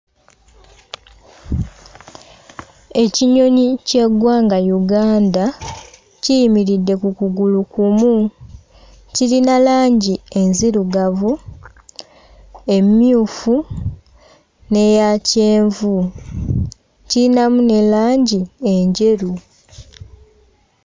Ekinyonyi ky'eggwanga Uganda kiyimiridde ku kugulu kumu. Kirina langi enzirugavu, emmyufu n'eya kyenvu, kiyinamu ne langi enjeru.